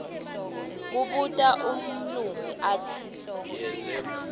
kubuta umlumbi atsi